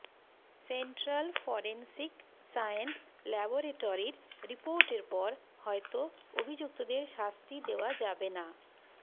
central forensic science ল্যাবরেটরির রিপোর্টের পর হয়তো অভিযুক্তদের শাস্তি দেওয়া যাবে না